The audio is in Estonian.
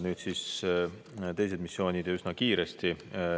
Nüüd siis teised missioonid, ja üsna kiiresti.